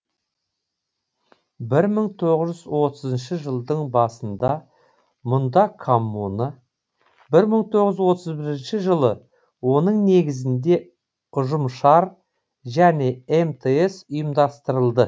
бір мың тоғыз жүз отызыншы жылдың басында мұнда коммуна бір мың тоғыз жүз отыз бірінші жылы оның негізінде ұжымшар және мтс ұйымдастырылды